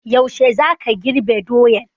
Yaushe za ka girbe doyan?